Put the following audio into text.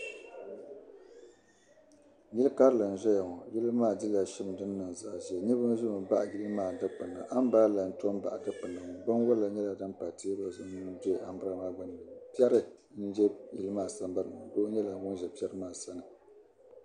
Yil' karili n-zaya ŋɔ. Yili maa dila shim din niŋ zaɣ' ʒee. Niriba ʒimi baɣi yili maa dikpini. Ambirɛla n-to baɣi dikpini ŋɔ binwala nyɛla dim pa teebuli zuɣu n-do ambirɛla maa gbunni piɛri m-be yili maa sambani ni ŋɔ doo nyɛla ŋun za piɛri maa sani.